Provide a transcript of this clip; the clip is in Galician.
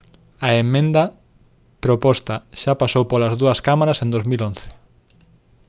a emenda proposta xa pasou polas dúas cámaras en 2011